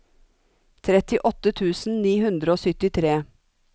trettiåtte tusen ni hundre og syttitre